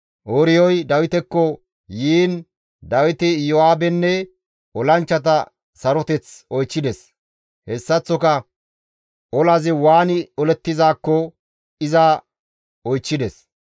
Ooriyoy Dawitekko yiin Dawiti Iyo7aabenne olanchchata saroteth oychchides; hessaththoka olazi waani olettizaakko iza oychchides.